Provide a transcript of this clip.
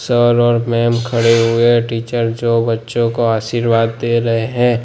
Sir और ma'am खड़े हुए टीचर जो बच्चों को आशीर्वाद दे रहे हैं।